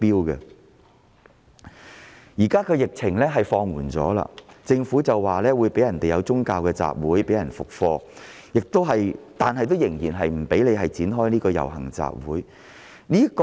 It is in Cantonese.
現時疫情已經放緩，政府會安排讓市民恢復進行宗教集會、復課，但依然不許展開遊行集會活動。